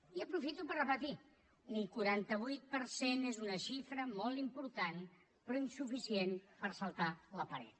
i aprofito per repetir ho un quaranta vuit per cent és una xifra molt important però insuficient per saltar la paret